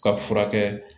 Ka furakɛ